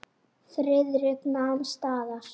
Friðrik nam staðar.